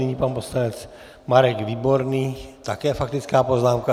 Nyní pan poslanec Marek Výborný, také faktická poznámka.